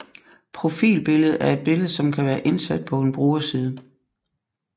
Profilbillede er et billede som kan være indsat på en brugerside